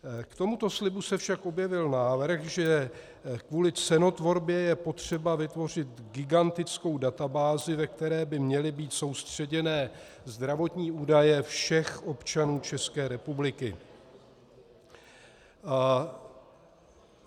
K tomuto slibu se však objevil návrh, že kvůli cenotvorbě je potřeba vytvořit gigantickou databázi, ve které by měly být soustředěny zdravotní údaje všech občanů České republiky.